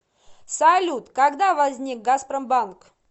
салют когда возник газпромбанк